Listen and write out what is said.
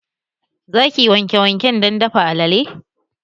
Za ki wanke waken dan dafa alale?